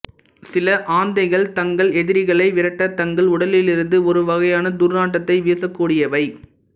சில ஆந்தைகள் தங்கள் எதிரிகளை விரட்ட தங்கள் உடலிலிருந்து ஒருவகையான துர்நாற்றத்தை வீசக் கூடியவை